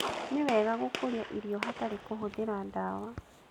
Nĩ wega gũkũria irio hatarĩ kũhũthĩra dawa